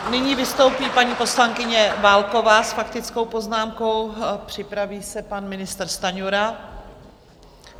Nyní vystoupí paní poslankyně Válková s faktickou poznámkou, připraví se pan ministr Stanjura.